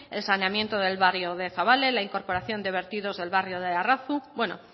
el saneamiento del barrio de zabala en la incorporación de vertidos del barrio de arratzu bueno